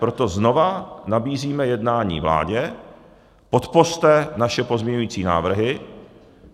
Proto znovu nabízíme jednání vládě, podpořte naše pozměňovací návrhy.